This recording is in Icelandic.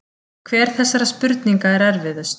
Hver þessara spurninga er erfiðust?